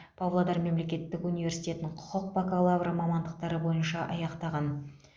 павлодар мемлекеттік университетін құқық бакалавры мамандықтары бойынша аяқтаған